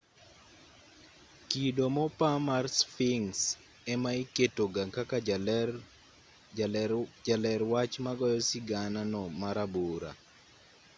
kido mopa mar sphinx ema iketoga kaka jaler wach magoyo sigana no marabora